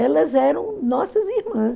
Elas eram nossas irmãs.